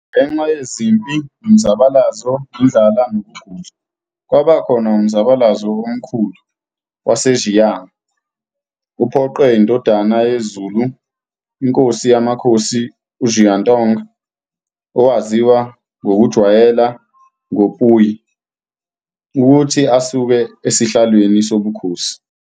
Ngenxayezimpi, umzabalazo, indlala nokugula, kwabakhona umzabalazo omkhulu waseXinhai uphoqe iNdodana yeZulu, iNkosi yamaKhosi uXuantong, owaziwa ngokujwaleya ngo-Puyi, ukuthi asuke esihlalweni sobukhosi.